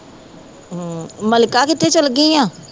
ਹੂੰ ਮਲਕਾ ਕਿੱਥੇ ਚੱਲ ਗਈ ਹੈ